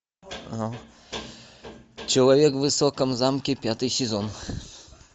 человек в высоком замке пятый сезон